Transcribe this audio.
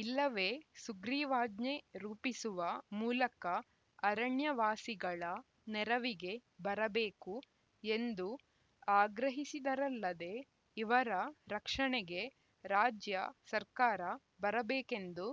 ಇಲ್ಲವೇ ಸುಗ್ರಿವಾಜ್ಞೆ ರೂಪಿಸುವ ಮೂಲಕ ಅರಣ್ಯವಾಸಿಗಳ ನೆರವಿಗೆ ಬರಬೇಕು ಎಂದು ಆಗ್ರಹಿಸಿದರಲ್ಲದೆ ಇವರ ರಕ್ಷಣೆಗೆ ರಾಜ್ಯ ಸರ್ಕಾರ ಬರಬೇಕೆಂದು